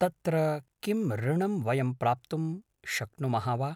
तत्र किं ऋणं वयं प्राप्तुं शक्नुमः वा